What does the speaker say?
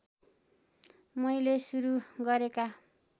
मैले सुरू गरेका